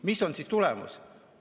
Mis on tulemus?